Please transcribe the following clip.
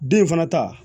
Den in fana ta